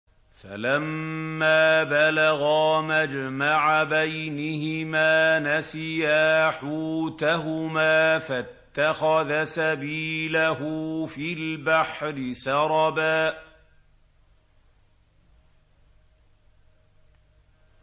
فَلَمَّا بَلَغَا مَجْمَعَ بَيْنِهِمَا نَسِيَا حُوتَهُمَا فَاتَّخَذَ سَبِيلَهُ فِي الْبَحْرِ سَرَبًا